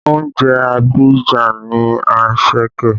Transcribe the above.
Oúnjẹ Abidjan ni anṣẹ̀kẹ́